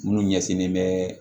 Minnu ɲɛsinnen bɛ